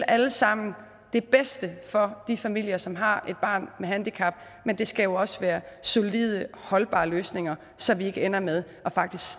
alle sammen vil det bedste for de familier som har et barn med handicap men det skal også være solide og holdbare løsninger så vi ikke ender med faktisk